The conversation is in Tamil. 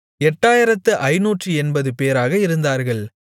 8580 பேராக இருந்தார்கள்